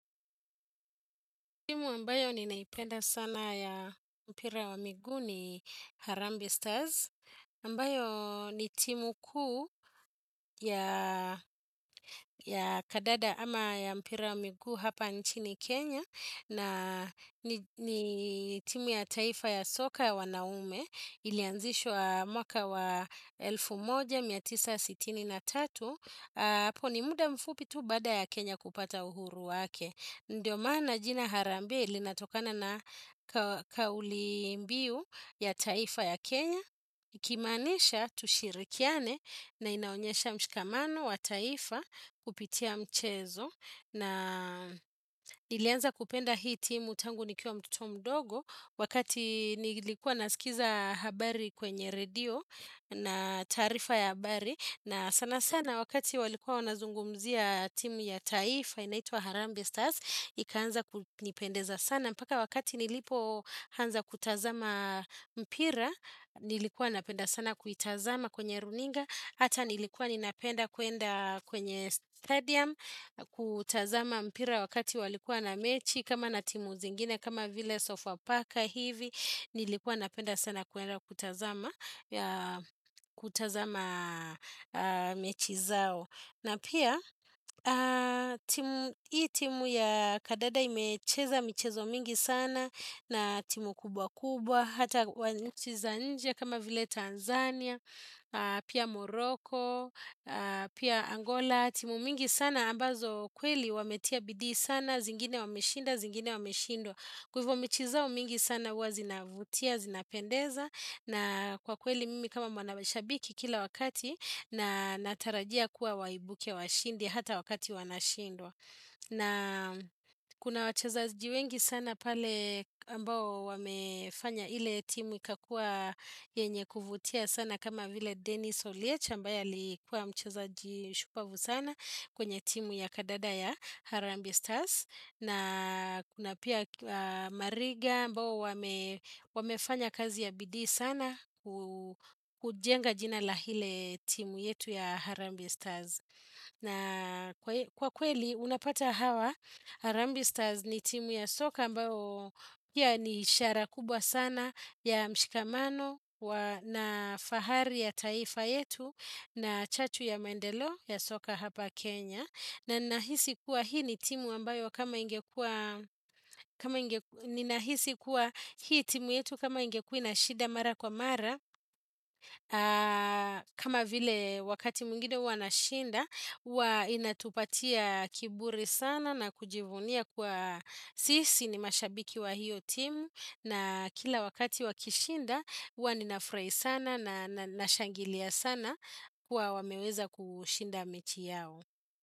Timu ambayo ninaipenda sana ya mpira wa miguu ni Harambe Stars. Ambayo ni timu kuu ya kandada ama ya mpira wa miguu hapa nchini Kenya. Na ni timu ya taifa ya soka ya wanaume ilianzishwa mwaka wa elfu moja mia tisa sitini na tatu. Hapo ni muda mfupi tu baada ya Kenya kupata uhuru wake. Ndiyo maana jina Harambe linatokana na kauli mbiu ya taifa ya Kenya. Ikimaanisha tushirikiane na inaonyesha mshikamano wa taifa kupitia mchezo. Na nilianza kupenda hii timu tangu nikiwa mtoto mdogo wakati nilikuwa nasikiza habari kwenye radio na taarifa ya habari. Na sana sana wakati walikuwa wanazungumzia timu ya taifa inaitwa Harambe Stars Ikaanza kunipendeza sana mpaka wakati nilipoanza kutazama mpira Nilikuwa napenda sana kuitazama kwenye runinga Hata nilikuwa ninapenda kuenda kwenye stadium kutazama mpira wakati walikuwa na mechi kama na timu zingine kama vile sofa paka hivi Nilikuwa napenda sana kuenda kutazama kutazama mechi zao na pia hii timu ya kandada imecheza michezo mingi sana na timu kubwa kubwa hata wa nchi za nje kama vile Tanzania pia moroko pia angola timu mingi sana ambazo kweli wametia bidii sana zingine wameshinda, zingine wameshindwa kwa hivo mechi zao mingi sana huwa zinavutia, zinapendeza na kwa kweli mimi kama mwanashabiki kila wakati na natarajia kuwa waibuke washindi hata wakati wanashindwa. Na kuna wachezaji wengi sana pale ambao wamefanya ile timu ikakua yenye kuvutia sana kama vile Dennis Olietch ambaye alikuwa mchezaji shupavu sana kwenye timu ya kandada ya Harambe stars. Na kuna pia mariga ambao wamefanya kazi ya bidii sana kujenga jina la ile timu yetu ya Harambe Stars. Na kwa kweli unapata hawa Harambe Stars ni timu ya soka ambao pia ni ishara kubwa sana ya mshikamano na fahari ya taifa yetu na chachu ya maendeleo ya soka hapa Kenya. Na nahisi kuwa hii ni timu ambayo kama ingekua, kama ingekua hii timu yetu kama ingekuwa inashinda mara kwa mara. Kama vile wakati mwingine huwa wanashinda, huwa inatupatia kiburi sana na kujivunia kuwa sisi ni mashabiki wa hiyo timu. Na kila wakati wakishinda, huwa ninafurahi sana na nashangilia sana kuwa wameweza kushinda mechi yao.